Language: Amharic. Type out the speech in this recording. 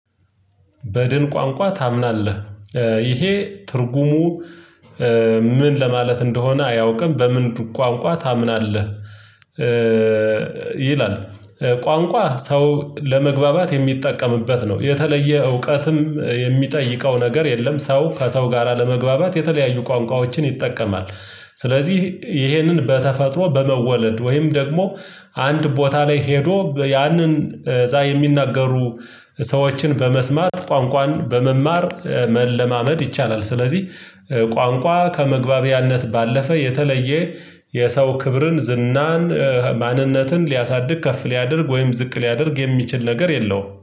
በድን ቋንቋ ታምናለህ ይሄ ትርጉሙ ምን ለማለት እንደሆነ አያውቅም በምልክት ቋንቋ ታምናለህ? ይላል ቋንቋ ሰው ለመግባባት የሚጠቀምበት ነው የተለየ እውቀትም የሚጠይቀው ነገር የለም። ሰው ከሰው ጋራ ለመግባባት የተለያዩ ቋንቋዎችን ይጠቀማል። ስለዚህ ይሄንን በተፈጥሮ በመወለድ ወይም ደግሞ አንድ ቦታ ላይ ሄዶ ያንን እዛ የሚናገሩ ሰዎችን በመስማት ቋንቋን በመማር መለማመድ ይቻላል። ስለዚህ ቋንቋ ከመግባቢያነት ባለፈ የተለየ የሰው ክብርን ዝናን ማንነትን ሊያሳድግ ከፍ ሊያደርግ ወይም ዝቅ ሊያደርግ የሚችል ነገር የለውም